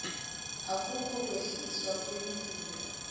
akukho kwehliswa kwelizinga